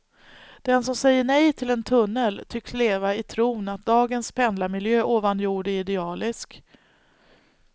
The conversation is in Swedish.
De som säger nej till en tunnel tycks leva i tron att dagens pendlarmiljö ovan jord är idealisk.